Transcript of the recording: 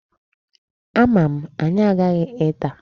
Ama m, anyị aghaghị ịta.